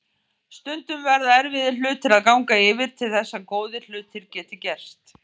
Stundum verða erfiðir hlutir að ganga yfir til þess að góðir hlutir geti gerst.